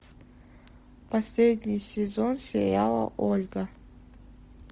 последний сезон сериала ольга